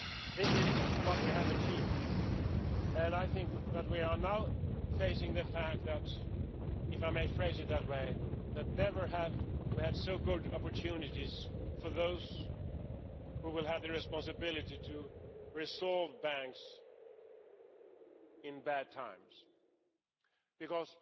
This is what we have achieved and I think that we are now facing the fact that, if I may phrase it that way, never have we had such good opportunities for those who will have the responsibility to resolve banks in bad times, because